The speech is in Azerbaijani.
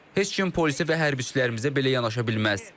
Heç kim polisi və hərbçilərimizə belə yanaşa bilməz.